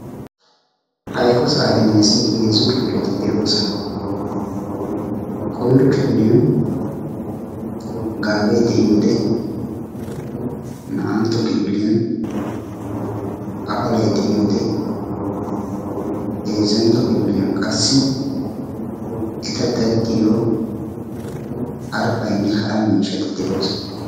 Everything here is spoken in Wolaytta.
Ha eqqo saaxiniyasi heezzu kifileti deosona. koyro kifiliyan gaabe deiyode; naa'antto kifiliyan afalay deiyode; heezzantto kifiliyan qassi etta daddiyo harppayne hara miisshati deosona.